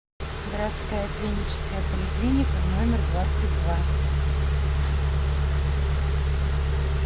городская клиническая поликлиника номер двадцать два